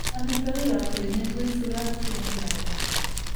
Amitwogikap koimen koisu kapchi eng kipakenge